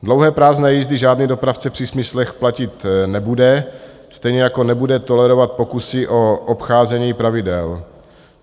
Dlouhé prázdné jízdy žádný dopravce při smyslech platit nebude, stejně jako nebude tolerovat pokusy o obcházení pravidel.